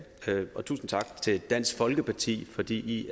og tusind tak til dansk folkeparti fordi i